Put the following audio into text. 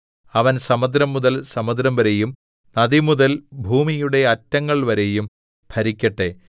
അവൻ സമുദ്രംമുതൽ സമുദ്രംവരെയും നദിമുതൽ ഭൂമിയുടെ അറ്റങ്ങൾവരെയും ഭരിക്കട്ടെ